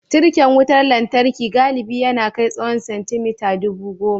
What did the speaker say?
Tirken wutar lantarki galibi ya na kai tsawan centimeter dubu goma.